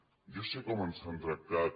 jo sé com ens han tractat